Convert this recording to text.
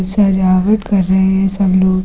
सजावट कर रहे हैं सब लोग।